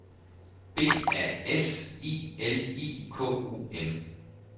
B A S I L I K U M